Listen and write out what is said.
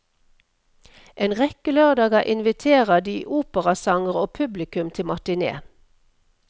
En rekke lørdager inviterer de operasangere og publikum til matiné.